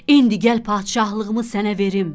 İndi gəl padişahlığımı sənə verim.